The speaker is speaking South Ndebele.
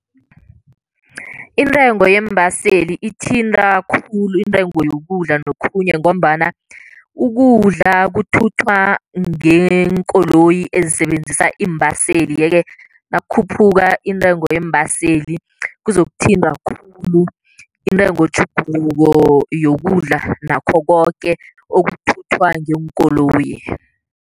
Intengo yeembaseli ithinta khulu intengo yokudla nokhunye ngombana ukudla kuthuthwa ngeenkoloyi ezisebenzisa iimbaseli, yeke nakukhuphuka intengo yeembaseli kuzokuthinta khulu intengotjhuguluko yokudla nakho koke okuthuthwa ngeenkoloyi.